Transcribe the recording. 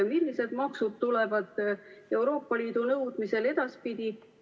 Millised maksud tulevad Euroopa Liidu nõudmisel edaspidi?